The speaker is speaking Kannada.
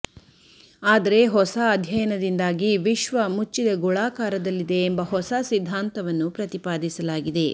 ಆದರೆ ಹೊಸ ಅಧ್ಯಯನದಿಂದಾಗಿ ವಿಶ್ವ ಮುಚ್ಚಿದ ಗೋಳಾಕಾರದಲ್ಲಿದೆ ಎಂಬ ಹೊಸ ಸಿದ್ಧಾಂತವನ್ನು ಪ್ರತಿಪಾದಿಸಲಾಗಿದೆ